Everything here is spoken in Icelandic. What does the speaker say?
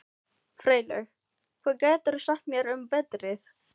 Freylaug, hvað geturðu sagt mér um veðrið?